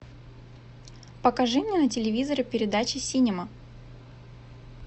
покажи мне на телевизоре передачу синема